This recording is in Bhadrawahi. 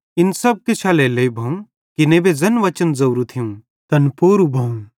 इन सब किछ एल्हेरेलेइ भोवं कि नेबे ज़ैन वचन ज़ोरू थियूं तैन पूरू भोवं